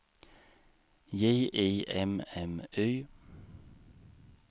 J I M M Y